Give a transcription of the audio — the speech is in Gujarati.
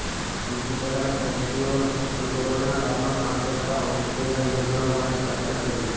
બીજી તરફ દર્દીઓએ પણ કોરોનાકાળમાં કામ કરતા હોસ્પિટલના યોદ્ધાઓ માટે પ્રાર્થના કરી